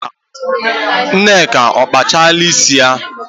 Nneka ọ kpasịala isi ya?